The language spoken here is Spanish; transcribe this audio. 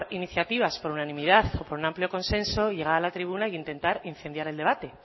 iniciativas por unanimidad o por un amplio consenso y llegar a la tribuna e intentar incendiar el debate